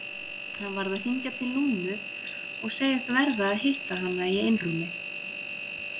Hann varð að hringja til Lúnu og segjast verða að hitta hana í einrúmi.